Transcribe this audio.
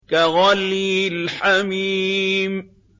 كَغَلْيِ الْحَمِيمِ